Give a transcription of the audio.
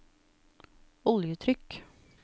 oljetrykk